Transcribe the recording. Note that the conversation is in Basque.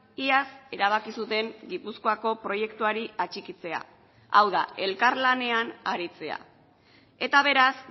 iaz erabaki zuten gipuzkoako proiektuari atxikitzea hau da elkarlanean aritzea eta beraz